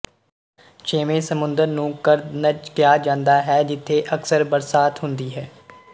ਛੇਵੇਂ ਸਮੁੰਦਰ ਨੂੰ ਕਰਦਨਜ ਕਿਹਾ ਜਾਂਦਾ ਹੈ ਜਿੱਥੇ ਅਕਸਰ ਬਰਸਾਤ ਹੁੰਦੀ ਹੈ